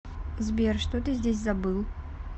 сбер что ты здесь забыл